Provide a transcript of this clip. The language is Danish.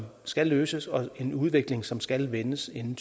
skal løses og en udvikling som skal vendes inden